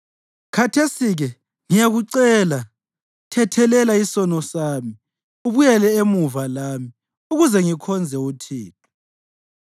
Khathesi-ke ngiyakucela, thethelela isono sami ubuyele emuva lami, ukuze ngikhonze uThixo.”